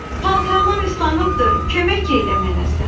Paltarlar islanıbdır, kömək eylə mənə sən.